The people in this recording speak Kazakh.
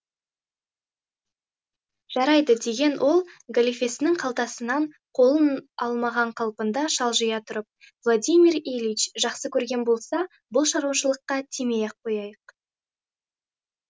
жарайды деген ол галифесінің қалтасынан қолын алмаған қалпында шалжия тұрып владимир ильич жақсы көрген болса бұл шаруашылыққа тимей ақ қояйық